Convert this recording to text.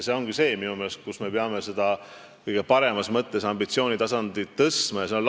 See ongi see, minu meelest, kus me peame kõige paremas mõttes ambitsioonitasandit tõstma, lasteaiad.